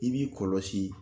I b'i kɔlɔsi.